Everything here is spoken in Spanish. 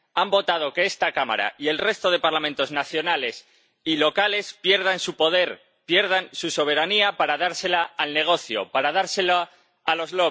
Han votado que esta Cámara y el resto de Parlamentos nacionales y locales pierdan su poder, pierdan su soberanía para dársela al negocio, para dársela a los